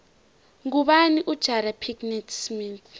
ngubani ujada pickett smith